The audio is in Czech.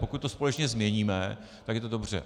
Pokud to společně změníme, tak je to dobře.